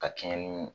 Ka kɛɲɛ ni